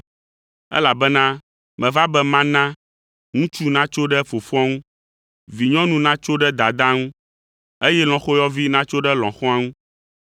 elabena meva be mana, “ ‘ŋutsu natso ɖe fofoa ŋu, vinyɔnu natso ɖe dadaa ŋu, eye lɔ̃xoyɔvi natso ɖe lɔ̃xoa ŋu.